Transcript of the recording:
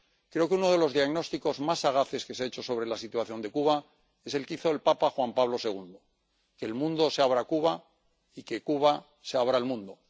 Creo que uno de los diagnósticos más sagaces que se ha hecho sobre la situación de Cuba es el que hizo el papa Juan Pablo II que el mundo se abra a Cuba y que Cuba se abra al mundo.